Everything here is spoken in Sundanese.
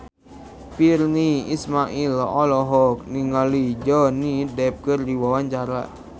Virnie Ismail olohok ningali Johnny Depp keur diwawancara